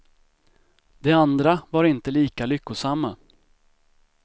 De andra var inte lika lyckosamma.